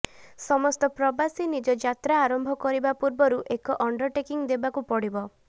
ସମସ୍ତ ପ୍ରବାସୀ ନିଜ ଯାତ୍ରା ଆରମ୍ଭ କରିବା ପୂର୍ବରୁ ଏକ ଅଣ୍ଡରଟେକିଂ ଦେବାକୁ ପଡ଼ିବ